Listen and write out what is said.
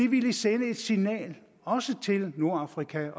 ville sende et signal også til nordafrika